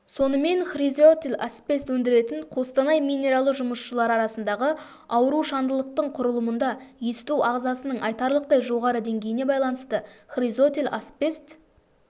сонымен хризотил-асбест өндіретін қостанай минералы жұмысшылары арасындағы аурушаңдылықтың құрылымында есту ағзасының айтарлықтай жоғары деңгейіне байланысты хризотил-асбест